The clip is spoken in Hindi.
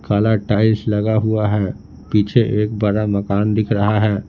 काला टाइल्स लगा हुआ है पीछे एक बड़ा मकान दिख रहा है।